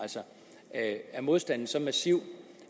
af dagpengeretten er modstanden så massiv